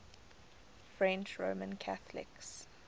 french roman catholics